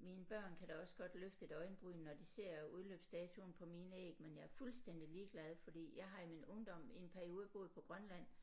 mine børn kan da også godt løfte et øjenbryn når de ser udløbsdatoen på mine æg men jeg er fuldstændig ligeglad fordi jeg har i min ungdom i en periode boet på Grønland